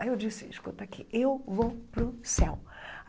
Aí eu disse, escuta aqui, eu vou para o céu.